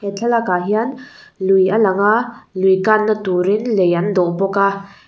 he thlalak ah hian lui a langa lui kanna turin lei an dawn bawka--